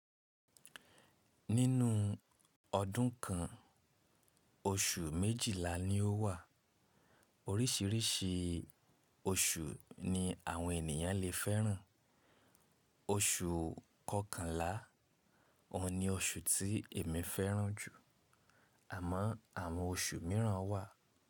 Nínú ọdún kan, oṣù méjìlá ni ó wà. Oríṣìíríṣìí oṣù ni àwọn ènìyàn lè fẹ́ràn. Oṣù kọkànlá òun ni oṣù tí èmi fẹ́ràn jù. Àmọ́ àwọn oṣù míràn wà.